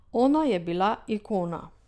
Ona je bila ikona.